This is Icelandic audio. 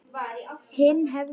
Hinn hefði